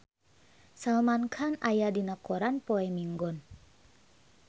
Salman Khan aya dina koran poe Minggon